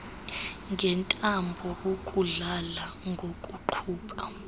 ngentambo ukudlala ngokuqhuba